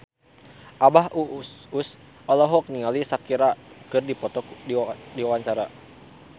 Abah Us Us olohok ningali Shakira keur diwawancara